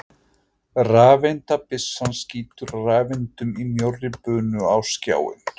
Rafeindabyssan skýtur rafeindum í mjórri bunu á skjáinn.